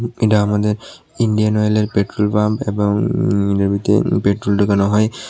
এটা আমাদের ইন্ডিয়ান অয়েলের পেট্রোল পাম্প এবং এটার ভিতরে পেট্রোল ঢুকানো হয়।